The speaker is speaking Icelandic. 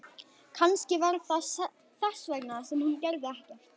Kannski var það þess vegna sem hún gerði ekkert.